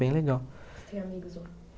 bem legal. Você tem amigos lá?